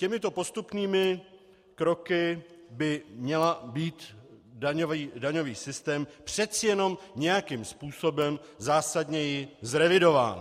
Těmito postupnými kroky by měl být daňový systém přece jenom nějakým způsobem zásadněji zrevidován.